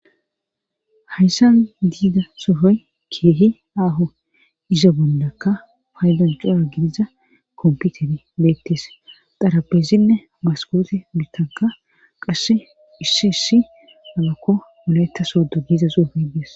hayssan diida sohoy keehi aaho izo bollaka faydan cora gidiza komputer beettes xarabesinne maskoote bittanka qasse issi issi labakko malayetta soodu giiza suufay des